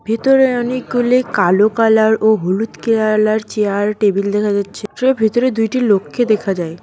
ভেতরে অনেকগুলি কালো কালার ও হলুদ কেয়ালার -এর চেয়ার আর টেবিল দেখা যাচ্ছে ভেতরে দুইটি লোককে দেখা যায়।